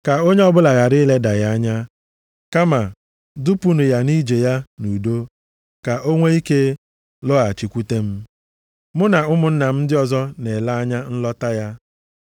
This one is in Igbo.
Ka onye ọbụla ghara ileda ya anya. Kama, dupunụ ya nʼije ya nʼudo ka o nwe ike lọghachikwute m. Mụ na ụmụnna ndị ọzọ na-ele anya nlọta ya.